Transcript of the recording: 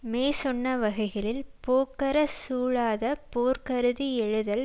மேற்சொன்னவகைகளில் போக்கறச் சூழாத போர் கருதி யெழுதல்